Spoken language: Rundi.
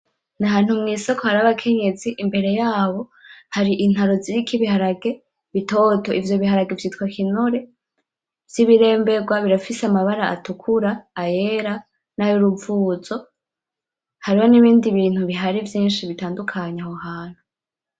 Ni ahantu mwisoko hari abakenyezi , imbere yabo hari intaro ziriko ibiharage bitoto, ivyo biharage vyitwa kinure vy'ibiremberwa , birafise amabara atukura ,ayera , nay'uruvuzo , hariho n'ibindi bintu bihari vyinshi bitandukanye aho hantu .